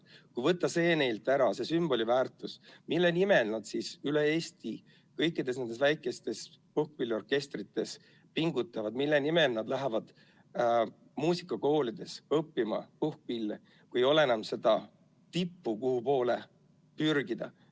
Kui võtta neilt ära see sümboliväärtus, mille nimel nad siis üle Eesti kõikides nendes väikestes puhkpilliorkestrites pingutavad, mille nimel nad lähevad muusikakooli õppima puhkpille, kui ei ole enam seda tippu, kuhu poole pürgida?